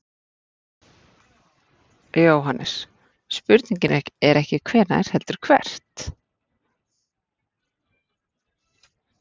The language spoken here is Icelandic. JÓHANNES: Spurningin er ekki hvenær heldur hvert.